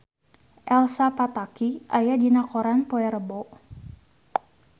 Elsa Pataky aya dina koran poe Rebo